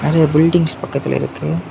அ buildings பக்கத்துல இருக்கு.